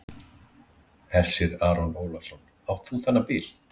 Hersir Aron Ólafsson: Átt þú þennan bíl?